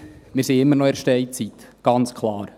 Wir sind immer noch in der Steinzeit, ganz klar.